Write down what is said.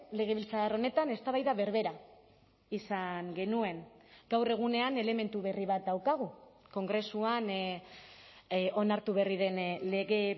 legebiltzar honetan eztabaida berbera izan genuen gaur egunean elementu berri bat daukagu kongresuan onartu berri den lege